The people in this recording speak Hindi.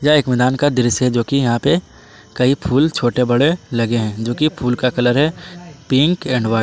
एक मैदान का दृश्य है जोकि यहाँ पे कई फूल छोटे बड़े लगे हैं। जोकि फूल का कलर है पिंक एंड व्हाइ--